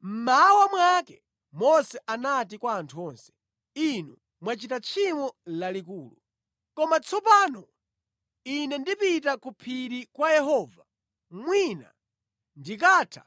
Mmawa mwake Mose anati kwa anthu onse, “Inu mwachita tchimo lalikulu. Koma tsopano ine ndipita ku phiri kwa Yehova mwina ndikatha